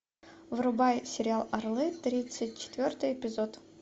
врубай сериал орлы тридцать четвертый эпизод